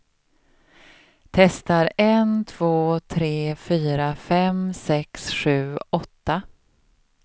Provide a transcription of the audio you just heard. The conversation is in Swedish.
Testar en två tre fyra fem sex sju åtta.